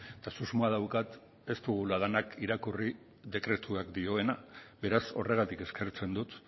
eta susmoa daukat ez dugula denak irakurri dekretuak dioena beraz horregatik eskertzen dut